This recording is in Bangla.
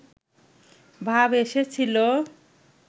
ভাব এসেছিলো